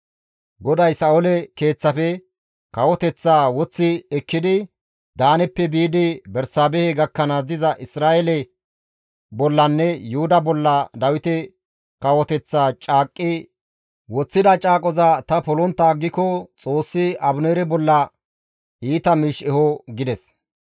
GODAY Sa7oole keeththafe kawoteththaa woththi ekkidi Daaneppe biidi Bersaabehe gakkanaas diza Isra7eele bollanne Yuhuda bolla Dawite kawoteththaa caaqqi woththida caaqoza ta polontta aggiko Xoossi Abineere bolla iita miish eho» gides.